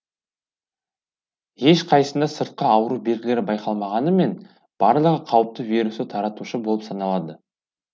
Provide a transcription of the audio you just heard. ешқайсысында сыртқы ауру белгілері байқалмағанымен барлығы қауіпті вирусты таратушы болып саналады